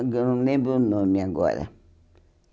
Só que Eu não lembro o nome agora.